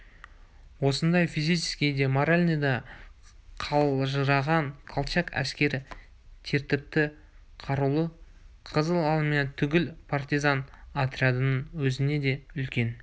осындай физический де моральный да қалжыраған колчак әскері тәртіпті қарулы қызыл армия түгіл партизан отрядының өзіне де үлкен